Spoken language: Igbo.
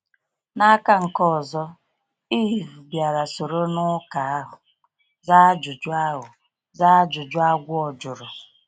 N’aka nke ọzọ, Èv bịara soro n’ụka ahụ, zaa ajụjụ ahụ, zaa ajụjụ agwọ jụrụ.